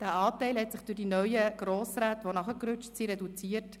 Dieser Anteil hat sich durch die neuen Grossräte, die nachgerückt sind, reduziert: